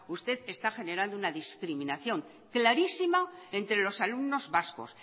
usted está generando una discriminación clarísima entre los alumnos vascos